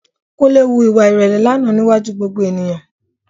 Kúnlé hu ìwà ìrẹ̀lẹ̀ lánàá níwájú gbogbo ènìyàn